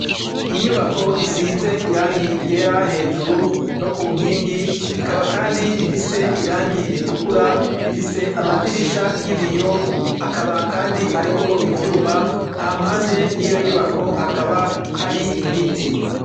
Inyubako isize irangi ryera hejuru no ku nkingi, ikaba kandi ifise irangi ritukura, ifise amadirisha y'ibiyo akaba kandi ariko ivyuma, hampande y'iyo nyubako hakaba hari ibiti.